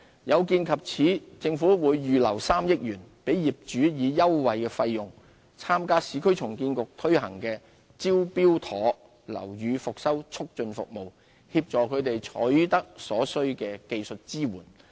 有見及此，政府會預留3億元，讓業主以優惠費用參加市區重建局推行的"招標妥"樓宇復修促進服務，協助他們取得所需的技術支援。